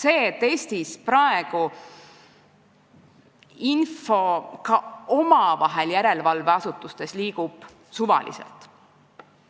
Eestis liigub praegu info järelevalveasutuste vahel suvaliselt.